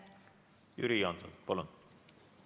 Jüri Jaanson, palun!